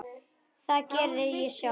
Það geri ég sjálf.